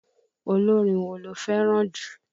Olórin wo lo fẹràn jù?